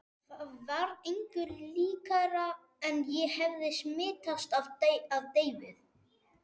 Það var engu líkara en ég hefði smitast af deyfð